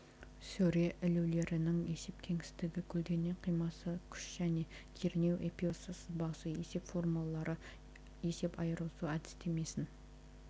сөре ілулерінің есеп кеңістігі көлденең қимасы күш және кернеу эпюрасы сызбасы есеп формулалары есеп айырысу әдістемесін